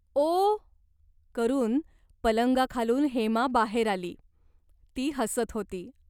"ओ" करून पलंगाखालून हेमा बाहेर आली. ती हसत होती.